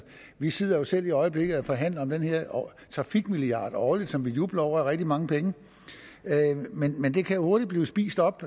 vi sidder selv i øjeblikket og forhandler om den her trafikmilliard årligt som vi jubler over er rigtig mange penge men den kan jo hurtigt blive spist op